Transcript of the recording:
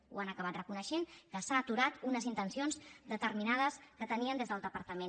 ho han acabat reconeixent que s’han aturat unes intencions determinades que tenien des del departament